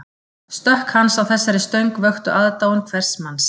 Stökk hans á þessari stöng vöktu aðdáun hvers manns